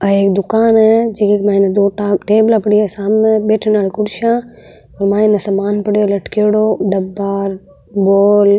आ एक दुकान है जेकी के मायने दो टेबला पड़ी है सामने बैठे नाल कुर्सियां और माइने सामान पड़ीयो है लटकियोडो डब्बा बॉल ।